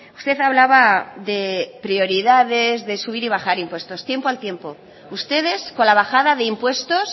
usted hablaba de prioridades de subir y bajar impuestos tiempo al tiempo ustedes con la bajada de impuestos